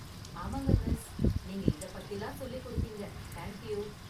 ஆமாங்க மிஸ், நீங்க இதை பத்திலாம் சொல்லிக் கொடுத்தீங்க, தேங்க் யூ.